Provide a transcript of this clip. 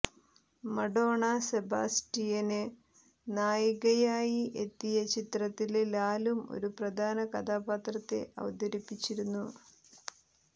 മഡോണ സെബാസ്റ്റിയന് നായികയായി എത്തിയ ചിത്രത്തില് ലാലും ഒരു പ്രധാന കഥാപാത്രത്തെ അവതരിപ്പിച്ചിരുന്നു